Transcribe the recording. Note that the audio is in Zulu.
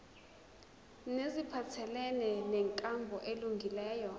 neziphathelene nenkambo elungileyo